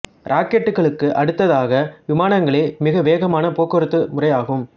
இராக்கெட்டுகளுக்கு அடுத்ததாக விமானங்களே மிக வேகமான போக்குவரத்து முறை ஆகும்